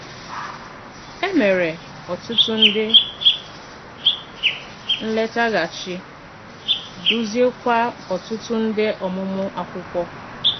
E mere ọtụtụ nde nletaghachi, duziekwa ọtụtụ nde ọmụmụ akwụkwo